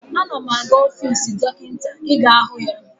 Ana m aga ọfiisi Dọkịta ị ga hụ ya.